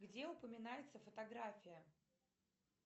где упоминается фотография